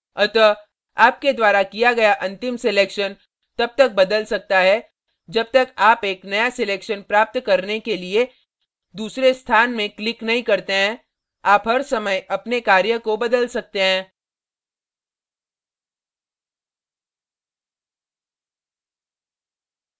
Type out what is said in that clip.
अतः आपके द्वारा किया गया अंतिम selection तब तक बदल सकता है जब तक आप एक नया selection प्राप्त करने के लिए दूसरे स्थान में click नहीं करते हैं आप हर समय अपने कार्य को बदल सकते हैं